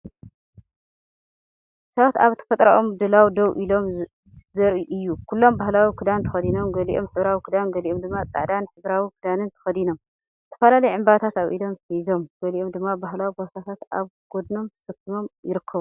ሰባት ኣብ ተፈጥሮኣዊ ምድላው ደው ኢሎም ዘርኢ እዩ። ኩሎም ባህላዊ ክዳን ተኸዲኖም ገሊኦም ሕብራዊ ክዳን ገሊኦም ድማ ጻዕዳን ሕብራዊ ክዳንን ተኸዲኖም። ዝተፈላለዩ ዕምባባታት ኣብ ኢዶም ሒዞም፡ ገሊኦም ድማ ባህላዊ ቦርሳታት ኣብ ጎድኖም ተሰኪሞም ይርከቡ።